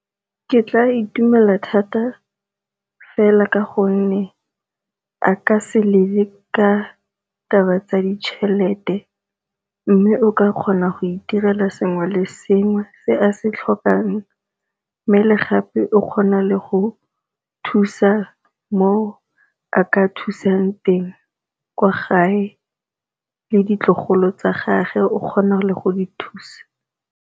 Ke tla itumela thata fela ka gonne a ka se lele ka taba tsa ditšhelete, mme o ka kgona go itirela sengwe le sengwe se a se tlhokang. Mme le gape o kgona le go thusa mo a ka thusang teng kwa gae le ditlogolo tsa gage o kgona le go di thusa.